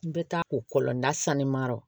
N bɛ taa o kɔlɔn na sanni ma yɔrɔ